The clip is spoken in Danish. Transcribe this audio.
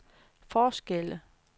forskelle